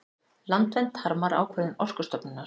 Landvernd harmar ákvörðun Orkustofnunar